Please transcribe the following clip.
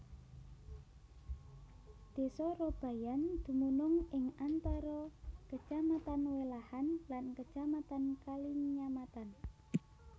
Desa Robayan dumunung ing antara Kecamatan Welahan lan Kecamatan Kalinyamatan